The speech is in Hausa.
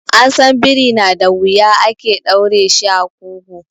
An san biri na da wuya ake ɗaure shi a ƙugu.